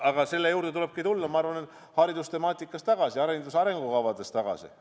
Aga selle juurde tulebki tulla, ma arvan, haridustemaatika arutamisel tagasi, hariduse arengukavades tagasi.